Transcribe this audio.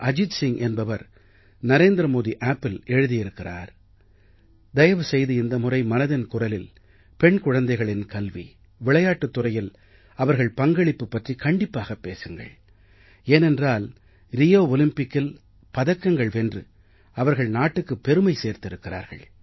அஜித் சிங் என்பவர் நரேந்திரமோடி appஇல் எழுதி இருக்கிறார் தயவு செய்து இந்த முறை மனதின் குரலில் பெண் குழந்தைகளின் கல்வி விளையாட்டுத் துறையில் அவர்கள் பங்களிப்பு பற்றிக் கண்டிப்பாகப் பேசுங்கள் ஏனென்றால் ரியோ ஒலிம்பிக்கில் பதக்கங்கள் வென்று அவர்கள் நாட்டுக்குப் பெருமை சேர்த்திருக்கிறார்கள்